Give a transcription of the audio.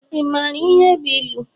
Ị mara ihe bụ ilu?